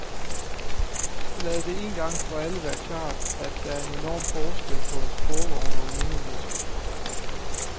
Lad det en gang for alle være klart, at der er en enorm forskel på en sporvogn og en minimetro.